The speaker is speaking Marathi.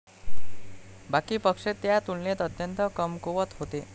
बाकी पक्ष त्या तुलनेत अत्यंत कमकुवत होते.